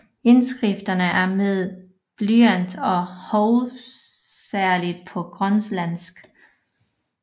Indskrifterne er med blyant og hovedsageligt på grønlandsk